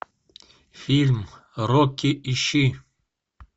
фильм рокки ищи